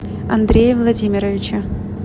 андрее владимировиче